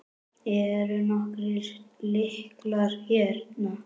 Eru nokkrir lyklar hérna?